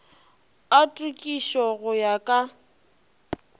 a tokišo go ya ka